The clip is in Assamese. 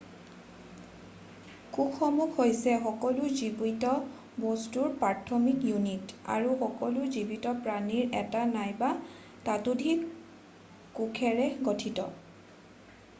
কোষসমূহ হৈছে সকলো জীৱিত বস্তুৰ প্ৰাথমিক ইউনিট আৰু সকলো জীৱিত প্ৰাণী এটা নাইবা ততোধিক কোষেৰে গঠিত হয়